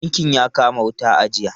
Tankin ya kama wuta a jiya.